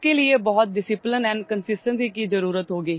इसके लिए बहुत डिसिप्लिन एंड कंसिस्टेंसी की जरुरत होगी